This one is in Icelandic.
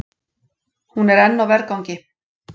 Hún er enn á vergangi.